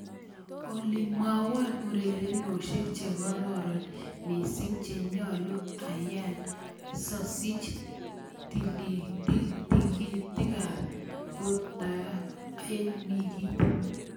Olly mwawon ureriosiek chegororon miising' chenyaluu ayaii sosiich tikiitikaab boortoe eng' wikiit